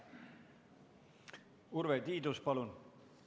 Urve Tiidus, palun!